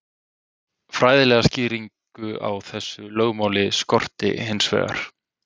Fræðilega skýringu á þessu lögmáli skorti hins vegar.